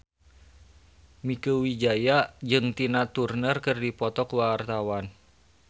Mieke Wijaya jeung Tina Turner keur dipoto ku wartawan